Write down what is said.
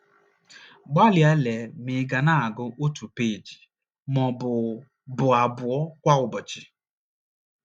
Gbalịa lee ma ị̀ ga na - agụ otu peeji ma ọ bụ bụ abụọ kwa ụbọchị.